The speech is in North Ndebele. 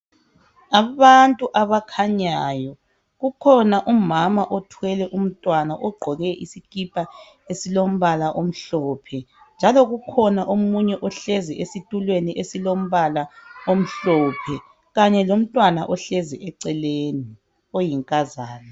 abantu abakhanyayo kukhona umama othwele umntwana ogqoke isikhipha esimbala omhlophe njalo kukhona omunye ohlezi esitulweni esilombala omhlophe kanye lomntwana ohlezi eceleni oyinkazana